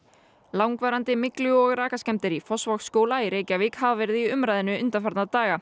langvarandi myglu og rakaskemmdir í Fossvogsskóla í Reykjavík hafa verið í umræðunni undanfarna daga